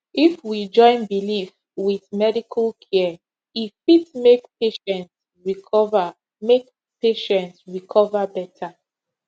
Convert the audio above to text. if we join belief with medical care e fit make patient recover make patient recover better